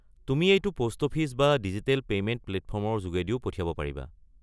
তুমি এইটো post office বা ডিজিটেল পেইমেণ্ট প্লেটফৰ্মৰ যোগেদিও পঠিয়াব পাৰিবা।